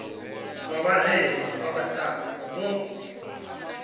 vha vharema vha vhasadzi vho